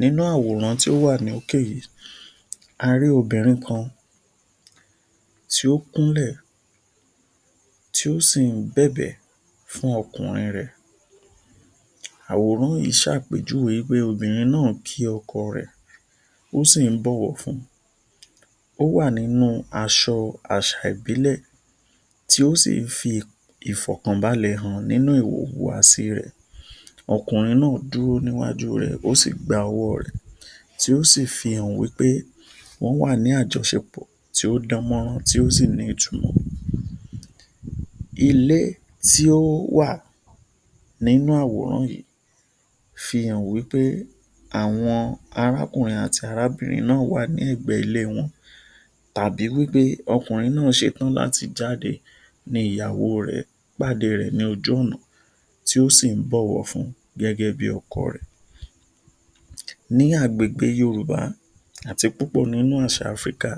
Nínú àwòrán tí ó wà lókè yìí, a rí obìnrin kan tí ó kúnlẹ̀ tí ó sì ń bẹ̀bẹ̀ fún ọkùnrin rẹ. Àwòrán yìí ṣàpèjúwe pé obìnrin náà ń kí ọkọ rẹ, ó sì bọ̀wọ̀ fun-un, ó wà nínú aṣọ àṣà ìbílẹ̀ tí ó sì ń fi ìfọkànbàlẹ̀ hàn nínú ìwo ìhùwàsí rẹ, ọkùnrin náà dúró níwájú rẹ ó sì gba ọwọ́ rẹ tí ó sì fi hàn pé wọn wá ní àjọ̀ṣépọ̀ tí ó dán mọ́rán tí ó sì ní ìtùnú. Ilé tí ó wà nínú àwòrán fi hàn wí pé àwọn arákùnrin àti arábìnrin náà wá ní ẹgbẹ́ ilé wọn tàbí ọkùnrin náà ṣe tán láti jáde ní ìyàwó rẹ padà rẹ ni ojú ọ̀nà tí ó sì ń bọ̀wọ̀ fun-un gẹ́gẹ́ bí ọkọ rẹ. Ní agbègbè Yorùbá, àti púpọ̀ nínú àṣà Áfríkà,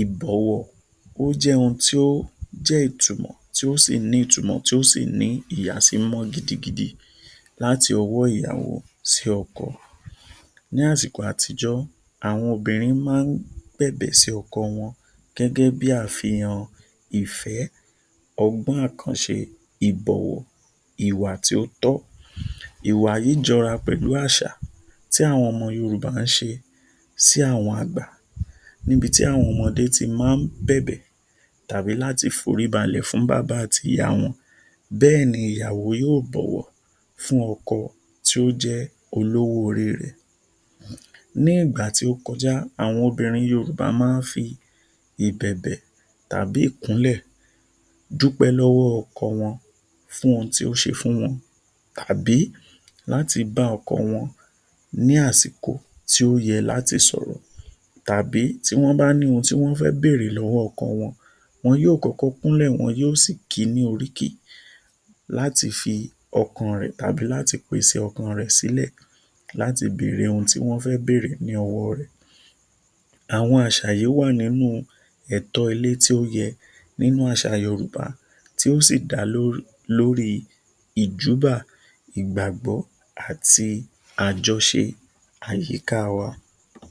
ìbọ̀wọ̀ ó jẹ ohun ti o jẹ́ ìtumọ̀ tí ó sí ní ìtumọ̀ tí ó sí ní ìyàsímímọ́ gidigidi láti ọwọ́ ìyàwó sí sí ọkọ. Ní àsìkò àtijọ́, àwọn obìnrin máa ń bẹ̀bẹ̀ sí ọkọ gẹ́gẹ́ wọn bí àfihàn ìfẹ́, ọgbọ́n akánṣe, ìbọ̀wọ̀, ìhùwà tí ó tọ́, ìwà yìí jọra pẹ̀lú àṣà tí àwọn ọmọ Yorùbá ń ṣe sí àwọn àgbà níbi tí àwọn ọmọdé tí máa ń bẹ̀bẹ̀ tàbí láti borí balẹ̀ fún ìyá àti bàbá wọn, bẹ́ẹ̀ ni ìyàwó yóò bọ̀wọ̀ fún ọkọ tí o jẹ́ olówó-orí rẹ. Ní ìgbà tí ó kọjá, àwọn obìnrin Yorùbá máa ń fi ìbẹ̀bẹ̀ tàbí ìkúnlẹ̀ dúpẹ́ lọ́wọ́ ọkọ wọn fún ohun tí ó ṣe fún wọn tàbí láti bá ọkọ wọn ní àsìkò tí ó yẹ láti sọ̀rọ̀ tàbí tí wọn bá ní ohun tí wọn fẹ́ bẹ̀rẹ̀ lọ́wọ́ ọkọ wọn, wọn yóò kọ́kọ́ kúnlẹ̀ wọn sí kì ni oríkì láti fi ọkàn rẹ tàbí láti pèsè ọkàn rẹ sílẹ̀ láti bẹ̀rẹ̀ ohun tí wọn fẹ́ bẹ̀rẹ̀ ni ọwọ́ rẹ. Àwọn àṣà yìí wá nínú ẹ̀tọ́ ilé tí ó yẹ nínú àṣà Yorùbá ti ó sì dá lórí ìjúbà, ìgbàgbọ́, àti àjọṣe àyíká wá.